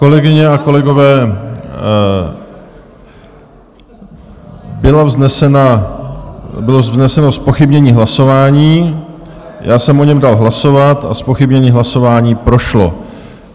Kolegyně a kolegové, bylo vzneseno zpochybnění hlasování, já jsem o něm dal hlasovat a zpochybnění hlasování prošlo.